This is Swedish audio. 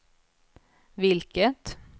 vilket